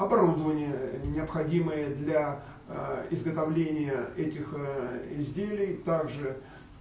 оборудование необходимое для изготовления этих изделий также